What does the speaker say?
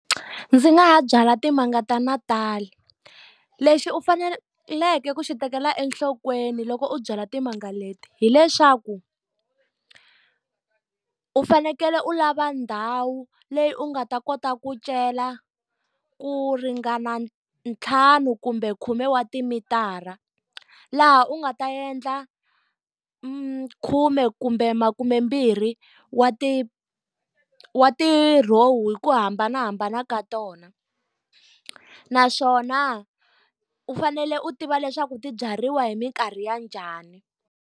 Ndzi nga ha byala timanga ta . Lexi u faneleke ku xi tekela enhlokweni loko u byala timanga leti hileswaku, u fanekele u lava ndhawu leyi u nga ta kota ku cela ku ringana ntlhanu kumbe khume wa timitara. Laha u nga ta endla makhume kumbe makumembirhi wa ti wa ti row-u hi ku hambanahambana ka tona. Naswona u fanele u tiva leswaku ti byariwa hi mikarhi ya njhani.